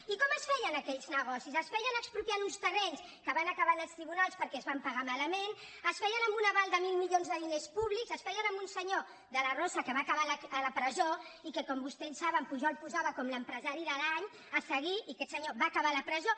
i com es feien aquells negocis es feien expropiant un terrenys que va acabar en els tribunals perquè es van pagar malament es feien amb un aval de mil milions de diners públics es feien amb un senyor de la rosa que va acabar a la presó i que com vostès saben pujol posava com l’empresari de l’any a seguir i aquest senyor va acabar a la presó